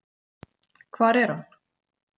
Hvar er hann?